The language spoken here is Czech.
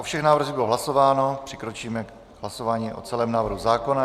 O všech návrzích bylo hlasováno, přikročíme k hlasování o celém návrhu zákona.